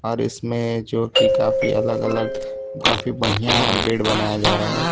और इसमें जो की काफी अलग अलग काफी बढ़िया बेड बनाया जा रहा है।